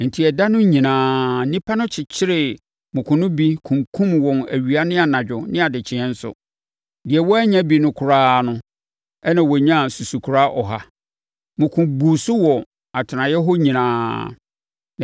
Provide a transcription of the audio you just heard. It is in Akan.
Enti ɛda mu no nyinaa, nnipa kyekyeree mmoko no bi kunkumm wɔn awia ne anadwo ne nʼadekyeeɛ nso. Deɛ wannya bi no koraa na ɔnyaa susukora ɔha! Mmoko buu so wɔ atenaeɛ hɔ nyinaa.